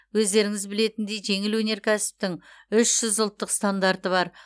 өздеріңіз білетіндей жеңіл өнеркәсіптің үш жүз ұлттық стандарты бар